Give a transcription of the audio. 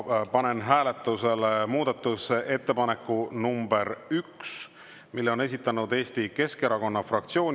Panen hääletusele muudatusettepaneku nr 1, mille on esitanud Eesti Keskerakonna fraktsioon.